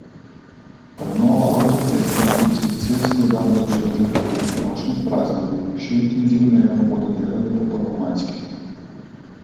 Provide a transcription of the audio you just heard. Obnovo avtocest in hitrih cest je Dars začel že po velikonočnih praznikih, še intenzivneje pa bodo delali po prvomajskih.